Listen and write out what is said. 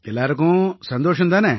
எல்லாருக்கும் சந்தோஷம் தானே